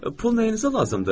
Pul nəyinizə lazımdır?